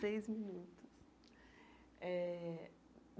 Seis minutos eh.